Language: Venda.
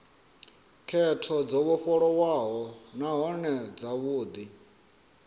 khetho dzo vhofholowaho nahone dzavhudi